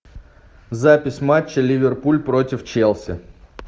запись матча ливерпуль против челси